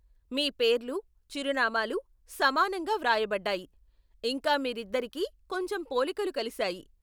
మీ పేర్లు, చిరునామాలు సమానంగా వ్రాయబడ్డాయి, ఇంకా మీరిద్దరికి కొంచెం పోలికలు కలిశాయి.